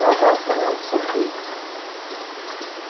ну да кивнул сергей